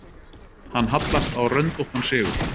Hann hallast á röndóttan sigur.